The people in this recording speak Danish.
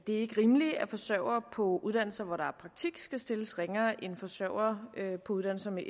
er ikke rimeligt at forsørgere på uddannelser hvor der er praktik skal stilles ringere end forsørgere på uddannelser med